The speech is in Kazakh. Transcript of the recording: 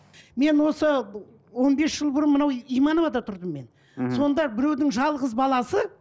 мен осы он бес жыл бұрын мынау имановада тұрдым мен мхм сондай біреудің жалғыз баласы